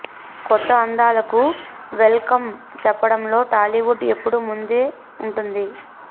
కొత్త అందాలకు welcome చెప్పడంలో టాలీవుడ్ ఎప్పుడూ ముందే ఉంటుంది